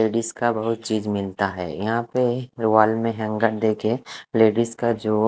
ladies का बहुत चीज मिलता है यहाँ पे वॉल में हैंगर देकर लेडिज का जो--